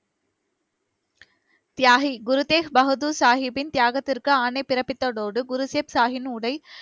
தியாகி குருதேக் பகதூர் சாகிப்பின் தியாகத்திற்கு ஆணை பிறப்பித்ததோடு, குரு ஷேப் சாகின் உடை,